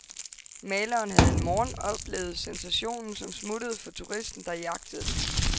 Maleren havde en morgen oplevet sensationen, som smuttede for turisten der jagtede den.